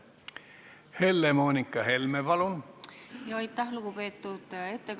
Helle-Moonika Helme, palun!